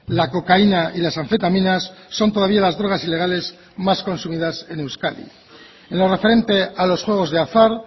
la cocaína y las anfetaminas son todavía las drogas ilegales más consumidas en euskadi en lo referente a los juegos de azar